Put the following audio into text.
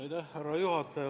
Härra juhataja!